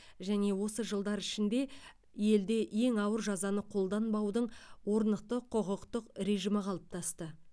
және осы жылдар ішінде елде ең ауыр жазаны қолданбаудың орнықты құқықтық режимі қалыптасты